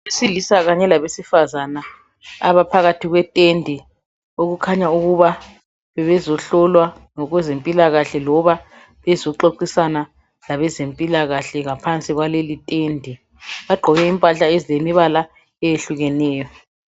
Abesilisa kanye labesifazane abaphakathi kwetende okukhanya ukuba bebezohlolwa ngokwezempilakahle loba bezoxoxisana labezempilakahle phansi kwaleli tende. Bagqoke impahla ezilemibala eyehlukeneyo.